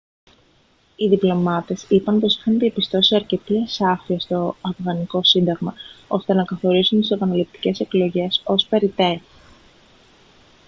οι διπλωμάτες είπαν πως είχαν διαπιστώσει αρκετή ασάφεια στο αφγανικό σύνταγμα ώστε να καθορίσουν τις επαναληπτικές εκλογές ως περιττές